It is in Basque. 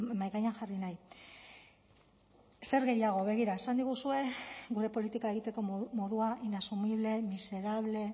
mahai gainean jarri nahi zer gehiago begira esan diguzue gure politika egiteko modua inasumible miserable